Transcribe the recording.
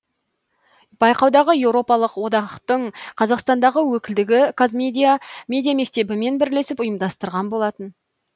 байқауды еуропалық одақтың қазақстандағы өкілдігі қазмедиа медиа мектебімен бірлесіп ұйымдастырған болатын